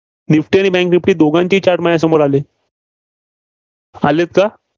Nifty आणि bank Nifty दोघांची Chart माझ्या समोर आले. आलेत का?